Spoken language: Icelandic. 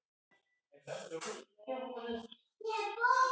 Ekki taka það illa upp.